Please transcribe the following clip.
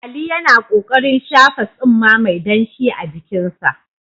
Ali yana ƙoƙarin shafa tsumma mai danshi a jikinsa.